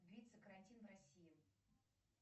длится карантин в россии